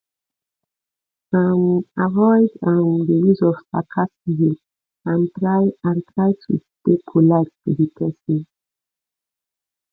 um avoid um di use of sarcasm and try and try to dey polite to di person